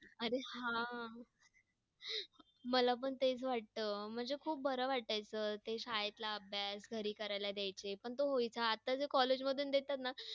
अरे हा. मला पण तेच वाटतं म्हणजे खूप बरं वाटायचं ते शाळेतला अभ्यास, घरी करायला देईचे पण तो होईचा. आता जे college मधून देतात ना,